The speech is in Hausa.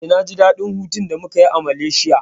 Eh, na ji daɗin hutun da muka yi a Malaysia.